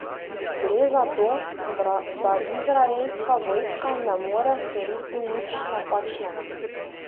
Gre za to, da izraelska vojska ne more storiti nič napačnega.